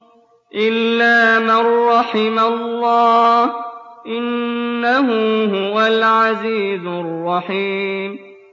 إِلَّا مَن رَّحِمَ اللَّهُ ۚ إِنَّهُ هُوَ الْعَزِيزُ الرَّحِيمُ